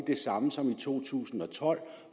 det samme som i to tusind og tolv